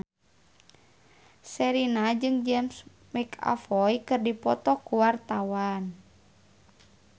Sherina jeung James McAvoy keur dipoto ku wartawan